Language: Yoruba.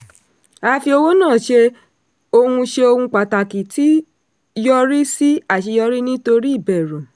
a fi owó náa ṣe ohun ṣe ohun pàtàkì tí yọrí sí aṣeyọrí nítorí ìbẹ̀rù.